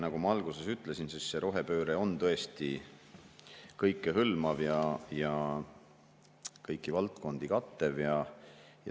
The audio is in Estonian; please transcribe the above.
Nagu ma alguses ütlesin, siis rohepööre on tõesti kõikehõlmav ja kõiki valdkondi kattev.